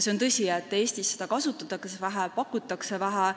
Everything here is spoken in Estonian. On tõsi, et Eestis seda kasutatakse ja pakutakse vähe.